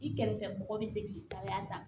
I kɛrɛfɛ mɔgɔ bi se k'i ta yan